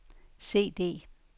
CD